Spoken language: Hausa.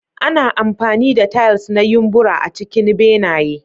Ana amfani da tiles na yumbura a cikin benaye.